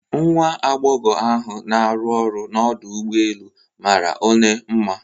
Nwa agbogho ahu na aru ọrụ n'Ọdụ ụgbọ elu mara one mma